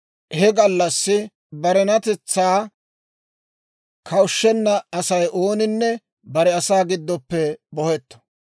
He gallassi barenatetsaa kawushshenna Asay ooninne bare asaa giddoppe bohetto.